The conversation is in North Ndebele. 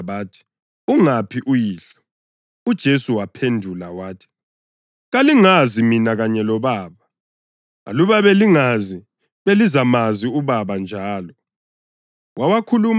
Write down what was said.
Basebembuza bathi, “Ungaphi uyihlo?” UJesu waphendula wathi, “Kalingazi mina kanye loBaba. Aluba belingazi, belizamazi loBaba njalo.”